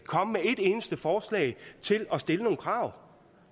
eneste forslag til at stille nogle krav